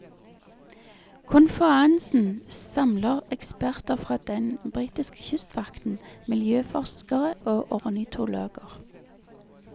Konferansen samler eksperter fra den britiske kystvakten, miljøforskere og ornitologer.